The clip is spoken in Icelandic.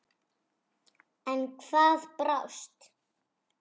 En hvað brást?